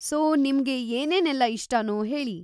So, ನಿಮ್ಗೆ ಏನೇನೆಲ್ಲ ಇಷ್ಟನೋ ಹೇಳಿ.